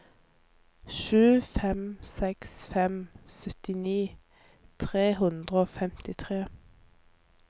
sju fem seks fem syttini tre hundre og femtitre